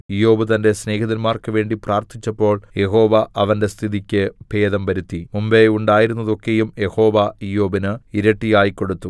ഇയ്യോബ് തന്റെ സ്നേഹിതന്മാർക്ക് വേണ്ടി പ്രാർത്ഥിച്ചപ്പോൾ യഹോവ അവന്റെ സ്ഥിതിക്ക് ഭേദം വരുത്തി മുമ്പെ ഉണ്ടായിരുന്നതൊക്കെയും യഹോവ ഇയ്യോബിന് ഇരട്ടിയായി കൊടുത്തു